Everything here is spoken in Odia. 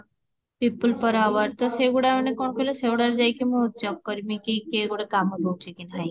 people per hour ତ ସେଗୁଡା ମାନେ କଣ କହୁଇଲ ସେଗୁଡା ରେ ମୁଁ ଯାଇକି ମୁଁ ଚେକଙ୍କ ଆକରିବି କି କିଏ ଗୋଟେ କାମ ଦଉଚି କି ନାହିଁ